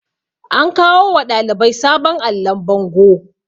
an kawo wa ɗalibai sabon allon bango